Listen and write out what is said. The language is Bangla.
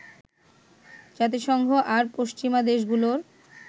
জাতিসংঘ আর পশ্চিমা দেশগুলোর